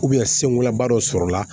senkolanba dɔ sɔrɔla